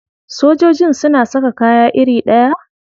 Sojojin suna saka kaya iri ɗaya?